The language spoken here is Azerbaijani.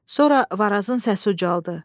Sonra Varazın səsi ucaldı.